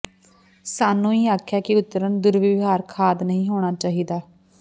ਸਾਨੂੰ ਹੀ ਆਖਿਆ ਹੈ ਕਿ ਉਤਰਨ ਦੁਰਵਿਵਹਾਰ ਖਾਦ ਨਹੀ ਹੋਣਾ ਚਾਹੀਦਾ ਹੈ